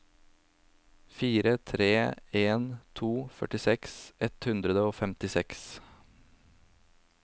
fire tre en to førtiseks ett hundre og femtiseks